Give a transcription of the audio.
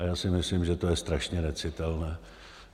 A já si myslím, že to je strašně necitelné.